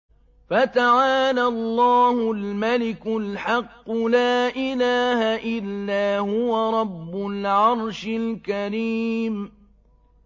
فَتَعَالَى اللَّهُ الْمَلِكُ الْحَقُّ ۖ لَا إِلَٰهَ إِلَّا هُوَ رَبُّ الْعَرْشِ الْكَرِيمِ